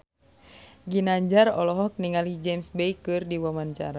Ginanjar olohok ningali James Bay keur diwawancara